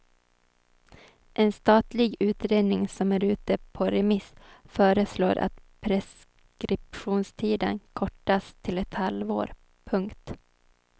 En statlig utredning som är ute på remiss föreslår att preskriptionstiden kortas till ett halvår. punkt